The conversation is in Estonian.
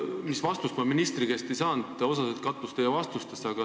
Ministri käest ma vastust ei saanud, kuid osaliselt te vastasite minu küsimusele ära.